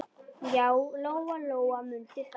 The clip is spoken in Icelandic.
Já, Lóa-Lóa mundi það.